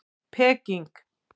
Peking